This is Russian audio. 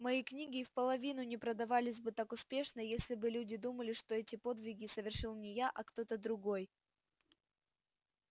мои книги и вполовину не продавались бы так успешно если бы люди думали что эти подвиги совершил не я а кто-то другой